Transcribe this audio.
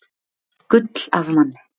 Gull af manni